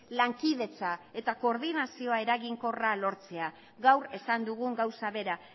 lankidetza eta koordinazio eraginkorra lortzea gaur esan dugun gauza bera